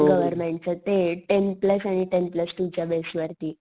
गव्हर्मेंटच्या ते ten plus आणि टेन प्लस टू च्या बेस वरती.